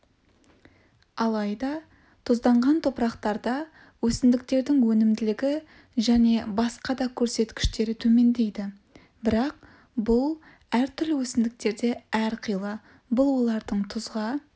алайда тұзданған топырақтарда өсімдіктердің өнімділігі және басқа да көрсеткіштері төмендейді бірақ бұл әртүрлі өсімдіктерде әрқилы бұл олардың тұзға